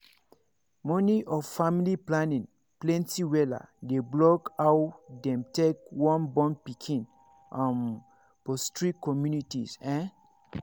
money of family planning plenty wella dey block aw dem take wun born pikin um for strict communities ehn